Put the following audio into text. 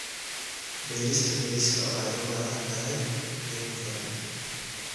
Beerista bariiska waxay u baahan tahay biyo ku filan.